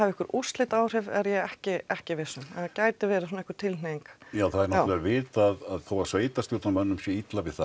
einhver úrslitaáhrif er ég ekki ekki viss um en það gæti verið svona einhver tilhneiging já það er náttúrulega vitað að þó að sveitarstjórnarmönnum sé illa við það